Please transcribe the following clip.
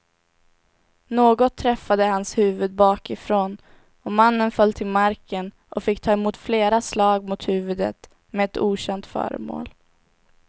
Något träffade hans huvud bakifrån och mannen föll till marken och fick ta emot flera slag mot huvudet med ett okänt föremål.